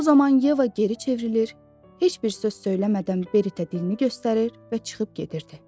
O zaman Yeva geri çevrilir, heç bir söz söyləmədən Beritə dilini göstərir və çıxıb gedirdi.